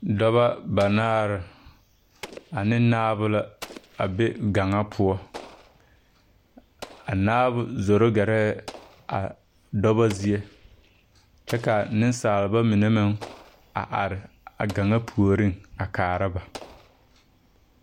Dɔbɔ banaare ane naabo la a be gaŋa poɔ a naabo zoro gɛrɛɛ a dɔbɔ zie kyɛ ka neŋsalba mine meŋ a are a gaŋa puoriŋ a kaara ba.